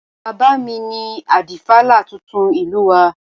Bàbá mi ni Adífálà tuntun ìlú wa